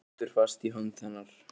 Heldur fast í hönd hennar.